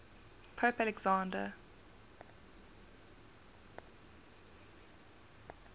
pope alexander